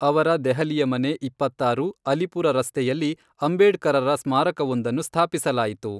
ಅವರ ದೆಹಲಿಯ ಮನೆ ಇಪ್ಪತ್ತಾರು, ಅಲಿಪುರ ರಸ್ತೆಯಲ್ಲಿ ಅಂಬೇಡ್ಕರರ ಸ್ಮಾರಕವೊಂದನ್ನು ಸ್ಥಾಪಿಸಲಾಯಿತು.